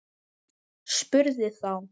Spurði þá